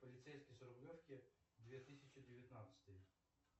полицейский с рублевки две тысячи девятнадцатый